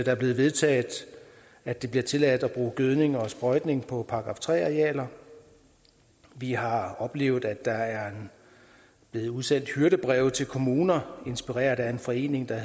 er blevet vedtaget at det bliver tilladt at bruge gødning og sprøjtning på § tre arealer vi har oplevet at der er blevet udsendt hyrdebreve til kommuner inspireret af en forening der